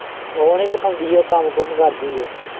ਉਹ ਨੀ ਪਕਾਉਂਦੀ ਉਹ ਕੰਮ-ਕੂਮ ਕਰਦੀ ਉਹ।